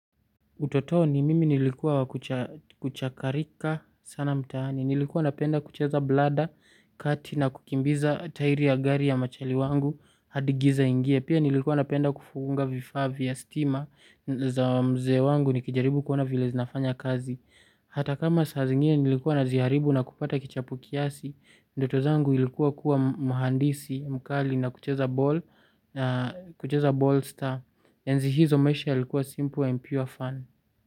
Utotoni mimi nilikuwa wa kuchakarika sana mtaani. Nilikuwa napenda kucheza blada, kati na kukimbiza tairi ya gari ya machali wangu. Hadi giza iingie. Pia nilikuwa napenda kufunga vifaa vya stima za mzee wangu nikijaribu kuona vile zinafanya kazi. Hata kama saa zingine nilikuwa naziharibu na kupata kichapo kiasi. Ndoto zangu ilikuwa kuwa mhandisi mkali na kucheza ball star. Enzi hizo maisha yalikuwa simple and pure fun.